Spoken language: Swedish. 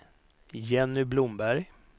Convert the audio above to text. Jenny Blomberg